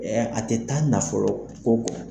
a tɛ taa nafolo ko kɔ.